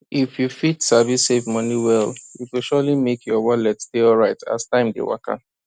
if you fit sabi save money well e go surely make your wallet dey alright as time dey waka